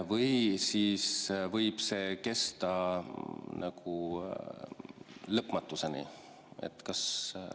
Või võib see kesta lõpmatuseni?